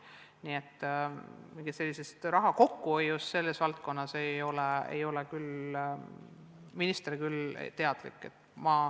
Nii et mingist raha kokkuhoiust selles valdkonnas ei ole minister küll teadlik.